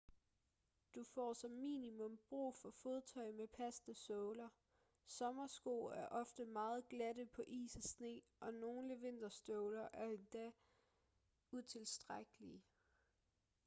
du får som minimum brug for fodtøj med passende såler sommersko er ofte meget glatte på is og sne og nogle vinterstøvler er endda utilstrækkelige